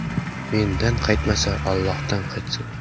Mendan qaytmasa, Allohdan qaytsin.